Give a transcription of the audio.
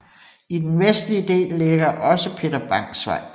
I den vestlige del ligger også Peter Bangs Vej